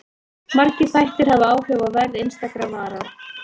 Margir þættir hafa áhrif á verð einstakra vara.